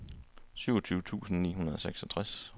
syvogtyve tusind ni hundrede og seksogtres